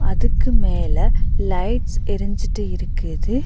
இதுக்கு மேல லைட்ஸ் எரிஞ்சிட்டு இருக்குது.